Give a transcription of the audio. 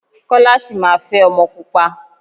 Kọ́lá sì máa fẹ́ ọmọ pupa.